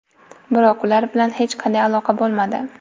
Biroq ular bilan hech qanday aloqa bo‘lmadi.